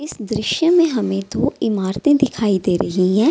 इस दृश्ये में दो इमारते दिखाई दे रही हैं |